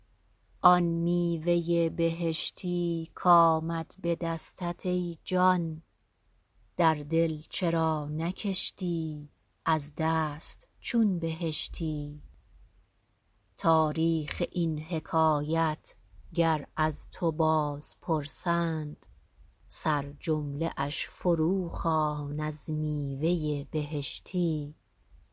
آن میوه بهشتی کآمد به دستت ای جان در دل چرا نکشتی از دست چون بهشتی تاریخ این حکایت گر از تو باز پرسند سرجمله اش فروخوان از میوه بهشتی